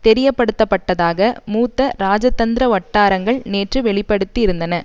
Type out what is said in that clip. தெரியப்படுத்தப்பட்டதாக மூத்த ராஜதந்திர வட்டாரங்கள் நேற்று வெளி படுத்தி இருந்தன